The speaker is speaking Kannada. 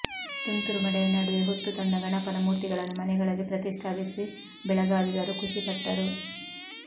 ತುಂತುರು ಮಳೆಯ ನಡುವೆ ಹೊತ್ತು ತಂದ ಗಣಪನ ಮೂರ್ತಿಗಳನ್ನು ಮನೆಗಳಲ್ಲಿ ಪ್ರತಿಷ್ಠಾಪಿಸಿ ಬೆಳಗಾವಿಗರು ಖುಷಿಪಟ್ಟರು